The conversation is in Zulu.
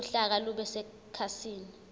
uhlaka lube sekhasini